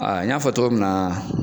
Aa n y'a fɔ cogo min na